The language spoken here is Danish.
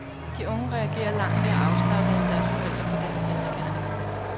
De unge reagerer langt mere afslappet end deres forældre på denne kendsgerning.